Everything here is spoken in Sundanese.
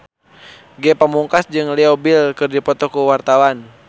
Ge Pamungkas jeung Leo Bill keur dipoto ku wartawan